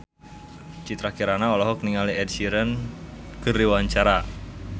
Citra Kirana olohok ningali Ed Sheeran keur diwawancara